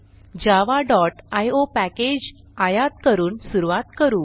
javaआयओ package आयात करून सुरूवात करू